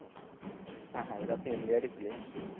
হ্যাঁ হ্যাঁ এরা তো ইন্ডিয়ারই player